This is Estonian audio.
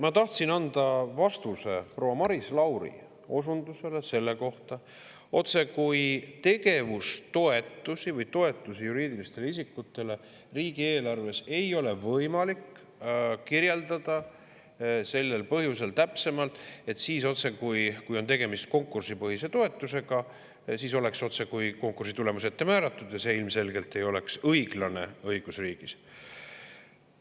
Ma tahtsin anda vastuse proua Maris Lauri osundusele selle kohta, otsekui tegevustoetusi või toetusi juriidilistele isikutele riigieelarves ei ole võimalik täpsemalt kirjeldada sellel põhjusel, et kui on tegemist konkursipõhise toetusega, siis oleks otsekui konkursi tulemus ette määratud ja see ilmselgelt ei oleks õiglane õigusriigis.